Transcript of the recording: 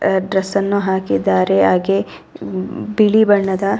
dress ಅನ್ನು ಹಾಕಿದ್ದಾರೆ ಹಾಗೆ ಬಿಳಿ ಬಣ್ಣದ --